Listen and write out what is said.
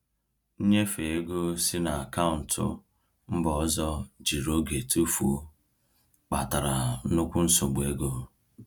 Nnyefe ego si na akaụntụ mba ọzọ jiri oge tụfuo, kpatara nnukwu nsogbu ego.